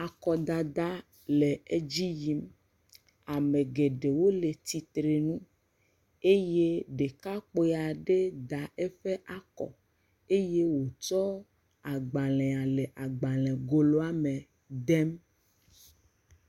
Akɔdada le edzi yim. Ame geɖewo le tsitrenu. Eye ɖekakpui aɖe da eƒe akɔ eye wòtsɔ agbalẽa le agbalẽgoloame dem.